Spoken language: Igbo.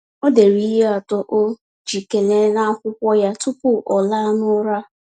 Ọ dere ihe atọ o ji ekele n’akwụkwọ ya tupu ọ laa n’ụra.